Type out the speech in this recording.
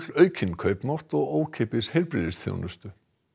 aukinn kaupmátt og ókeypis heilbrigðisþjónustu